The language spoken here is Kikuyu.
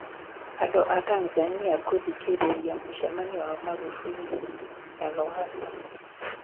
Andu a Tanzania kuthikĩrĩria mũcemanio wa Maghufuli na Lowassa